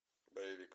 боевик